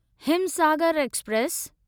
Himsagar express